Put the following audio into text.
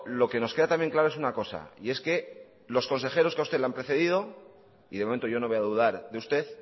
lo que nos queda también claro es una cosa y es que los consejeros que a usted le han precedido y de momento yo no voy a dudar de usted